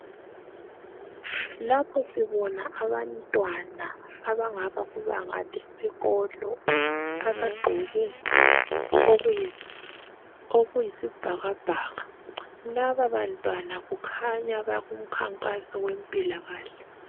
Lapho sibona abantwana abangaba kubanga lesikolo abagqoke okuyisibhakabhaka laba bantwana kukhanya bakumkhankaso wempilakahle.